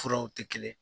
Furaw tɛ kelen ye